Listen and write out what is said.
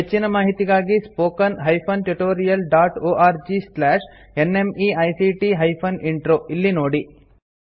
ಹೆಚ್ಚಿನ ಮಾಹಿತಿಗಾಗಿ spoken hyphen tutorial dot org slash NMEICT hyphen intro ಇಲ್ಲಿ ನೋಡಿ